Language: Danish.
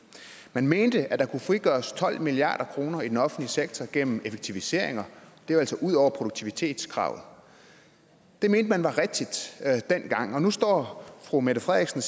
man mente at der kunne frigøres tolv milliard kroner i den offentlige sektor gennem effektiviseringer det var altså ud over produktivitetskravet det mente man var rigtigt dengang og nu står fru mette frederiksen